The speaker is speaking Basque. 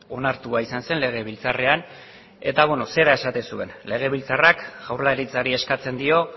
onartua izan zen legebiltzarrean eta beno zera esaten zuen legebiltzarrak jaurlaritzari eskatzen dio